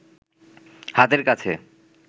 হাতের কাছে